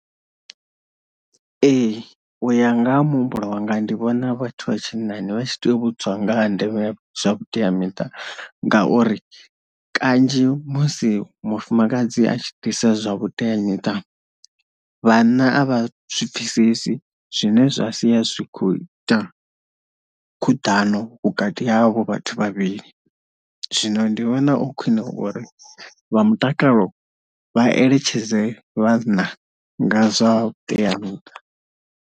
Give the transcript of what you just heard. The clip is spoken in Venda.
Ee uya nga ha muhumbulo wanga ndi vhona vhathu vha tshinnani vha tshi tea u vhudzwa nga ha ndeme zwa vhuteamiṱa ngauri kanzhi musi mufumakadzi a tshi ḓisa zwa vhuteamiṱa vhanna a vha zwipfesesi zwine zwa sia zwi kho ita khuḓano vhukati havho vhathu vhavhili, zwino ndi vhona o khwine ngori vha mutakalo vha eletshedze vhanna nga zwa vhuteamuṱa.